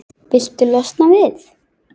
Viltu losna við-?